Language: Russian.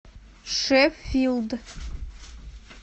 шеффилд